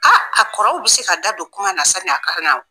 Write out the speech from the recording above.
Aa a kɔrɔw bɛ se ka da don kuma na sa ni a ka na oo.